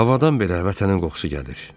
Havadan belə vətənin qoxusu gəlir.